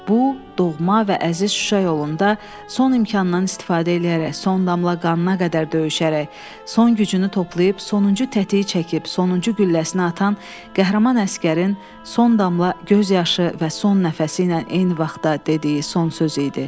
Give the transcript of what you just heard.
Bu doğma və əziz Şuşa yolunda son imkandan istifadə eləyərək, son damla qanına qədər döyüşərək, son gücünü toplayıb sonuncu tətii çəkib, sonuncu gülləsini atan qəhrəman əsgərin son damla göz yaşı və son nəfəsi ilə eyni vaxtda dediyi son söz idi.